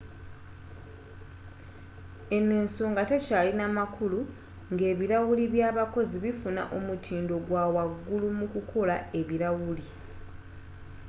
eno ensonga tekyalina makulu nga ebilawuli by'abakozi bifuna omutindo ogw'awagulu mu kukola ebilawuli